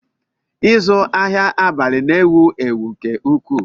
Ịzụ ahịa abalị na-ewu ewu nke ukwuu